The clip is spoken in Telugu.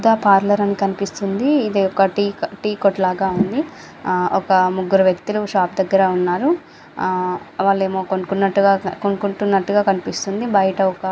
సుధా పార్లర్ అని కనిపిస్తూ ఉంది. ఇది ఒక టి కొట్టు లాగా ఉన్నది లాగా ఉంది ఒక ముగ్గురు. వ్యక్తులు షాపు దగ్గర ఉన్నారు. వాల్లు ఏమొ కొనుక్కుంటున్నట్టుగా కొనుక్కున్నట్టుగా కనిపిస్తున్నారు. బయట ఒక--